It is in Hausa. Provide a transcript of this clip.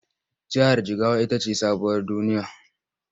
Jihar Jigawa ita ce sabuwar duniya.